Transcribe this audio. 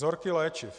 Vzorky léčiv.